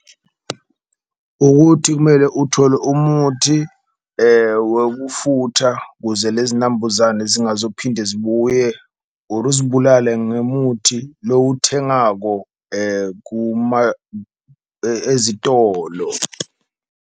Ukuthi kumele uthole umuthi wokufutha kuze lezi nambuzane zingazo phinde zibuye or uzibulale ngemuthi lowuthengako ezitolo.